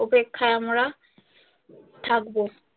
অপেক্ষায় আমরা থাকবো।